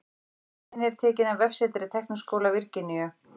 Myndin er tekin af vefsetri Tækniskóla Virginíu.